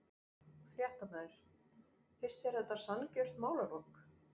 Fréttamaður: Finnst þér þetta sanngjörn málalok?